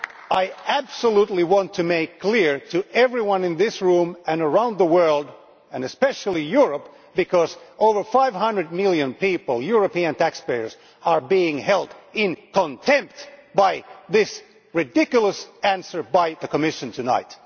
I absolutely want to make that clear to everyone in this room and around the world, and especially in Europe, because over 500 million people European taxpayers are being held in contempt by this ridiculous answer from the Commission tonight.